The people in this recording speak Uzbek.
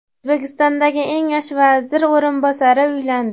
O‘zbekistondagi eng yosh vazir o‘rinbosari uylandi.